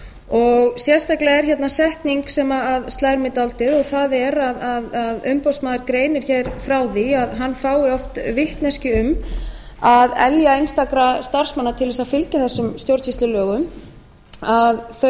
og sérstaklega er hérna setning sem slær mig dálítið það er að umboðsmaður greinir hér frá því að hann fái oft vitneskju um að elja einstakra starfsmanna til þess að fylgja þessum stjórnsýslulögum að þau